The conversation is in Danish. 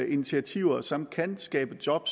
initiativer som kan skabe job